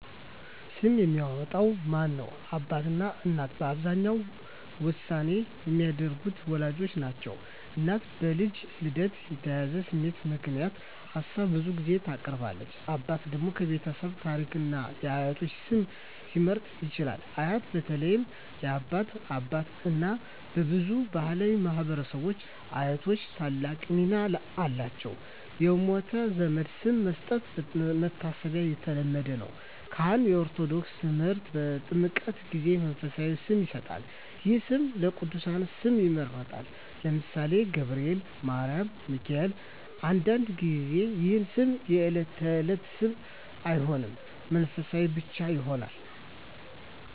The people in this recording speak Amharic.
ስም የሚያወጣው ማን ነው? አባትና እናት በአብዛኛው ዋና ውሳኔ የሚያደርጉት ወላጆች ናቸው። እናት በልጁ ልደት የተያያዘ ስሜት ምክንያት ሀሳብ ብዙ ጊዜ ታቀርባለች። አባት ደግሞ የቤተሰብ ታሪክን እና የአያቶች ስም ሊመርጥ ይችላል። አያት (በተለይ የአባት አባት/እናት) በብዙ ባሕላዊ ማኅበረሰቦች አያቶች ታላቅ ሚና አላቸው። የሞተ ዘመድ ስም መስጠት (መታሰቢያ) የተለመደ ነው። ካህን (በኦርቶዶክስ ተምህርት) በጥምቀት ጊዜ መንፈሳዊ ስም ይሰጣል። ይህ ስም ከቅዱሳን ስም ይመረጣል (ለምሳሌ፦ ገብርኤል፣ ማርያም፣ ሚካኤል)። አንዳንድ ጊዜ ይህ ስም የዕለት ተዕለት ስም አይሆንም፣ መንፈሳዊ ብቻ ይሆናል።